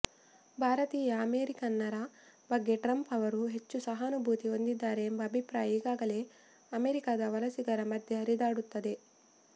ಭಾರತೀಯ ಅಮೆರಿಕನ್ನರ ಬಗ್ಗೆ ಟ್ರಂಪ್ ಅವರು ಹೆಚ್ಚು ಸಹಾನುಭೂತಿ ಹೊಂದಿದ್ದಾರೆ ಎಂಬ ಅಭಿಪ್ರಾಯ ಈಗಾಗಲೇ ಅಮೆರಿಕದ ವಲಸಿಗರ ಮಧ್ಯೆ ಹರಿದಾಡುತ್ತಿದೆ